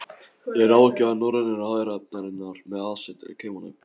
Er ráðgjafi Norrænu ráðherranefndarinnar, með aðsetur í Kaupmannahöfn.